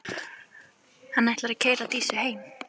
Hann ætlar að keyra Dísu heim.